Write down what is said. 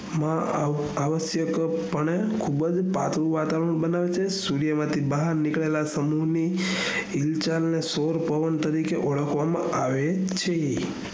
મા આવશ્યક પણે ખુબજ પાતળું વાતાવરણ બનાવે છે સૂર્ય માંથી બહાર નીકળેલા સમૂહ ની સોર પવન તરીકે ઓળખવામાં આવે છે